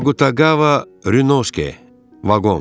Agu Tagava Rüşke vaqon.